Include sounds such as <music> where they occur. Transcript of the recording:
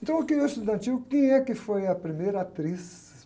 Então, <unintelligible> estudantil, quem é que foi a primeira atriz?